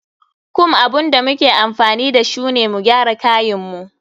Comb abun da muke amfani dashu ne mu gyara kayin mu.